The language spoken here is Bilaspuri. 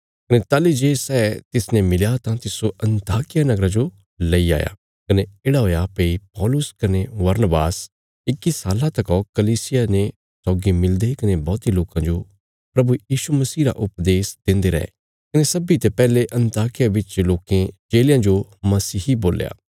कने ताहली जे सै तिसने मिलया तां तिस्सो अन्ताकिया नगरा जो लैई आया कने येढ़ा हुआ भई पौलुस कने बरनबास इक्की साल्ला तका कलीसिया ने सौगी मिलदे कने बौहती लोकां जो प्रभु यीशु मसीह रा उपदेश देन्दे रै कने सब्बीं ते पैहले अन्ताकिया बिच लोकें चेलेयां जो मसीही बोल्या